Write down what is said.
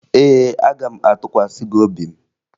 Ee, aga m atụkwasị gị obi m